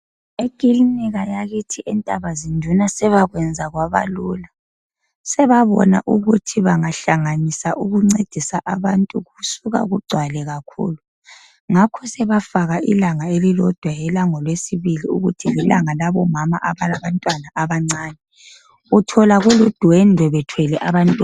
Ekilinika yakithi eNdabazinduna sebekwazi kwabalula sebabona ukuthi bangahlanganisa ukuncedisa abantu kusuka kugcwale kakhulu ngakho sebafaka ilanga elilodwa elangoLwesibili ukuthi lilanga labomama abalabantwana abancane uthola kuludwedwe bethelwe abantwana.